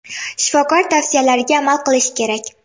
Shifokor tavsiyalariga amal qilish kerak.